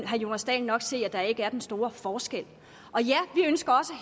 herre jonas dahl nok se at der ikke er den store forskel